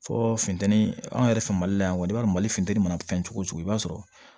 Fɔ funteni an yɛrɛ fɛ mali la yan kɔni i b'a dɔn ma futɛni mana fɛn cogo cogo i b'a sɔrɔ